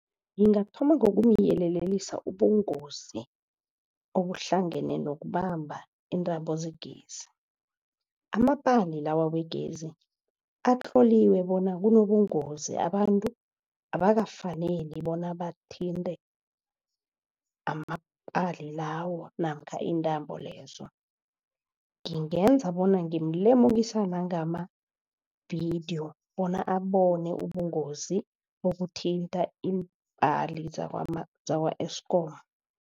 Ngingathoma ngokumyelelisa ubungozi okuhlangene nokubamba iintambo zegezi amapali lawa wegezi atloliwe bona kunobungozi abantu abakafaneli bona bamthinte amapali lawa namkha intambo lezo ngingenza bona ngimlemukisa nangamavidiyo bona abone ubungozi bokuthinta iimpali zakwa-Eskom.